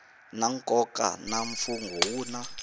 na nkoka na mfungho wun